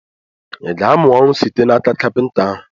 I ga-amụ ọrụ site n'aka kapịnta ahụ?